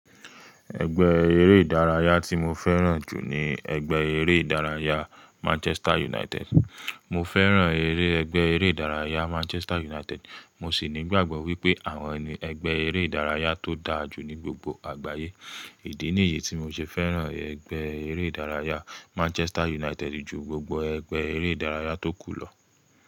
Ẹgbẹ́ eré ìdárayá tí mo fẹ́ràn jù ní ẹgbẹ́ eré ìdárayá Manchester United. Mo fẹ́ràn eré ẹgbẹ́ eré ìdárayá Manchester United, mo sì ní ìgbàgbọ́ wípé àwọn ní ẹgbẹ́ eré ìdárayá tó dáa jù ní gbogbo àgbáyé. Idí nìyí tí mo ṣe fẹ́ràn ẹgbẹ́ eré ìdárayá Manchester United ju gbogbo ẹgbẹ́ eré ìdárayá tó kù lọ.